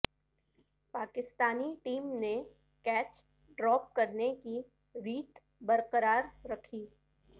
Pakistani team نے catch drop کرنے کی ریت برقرار رکھی